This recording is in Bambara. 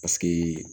Paseke